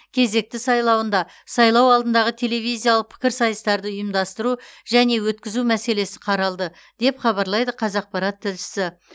кезекті сайлауында сайлау алдындағы телевизиялық пікірсайыстарды ұйымдастыру және өткізу мәселесі қаралды деп хабарлайды қазақпарат тілшісі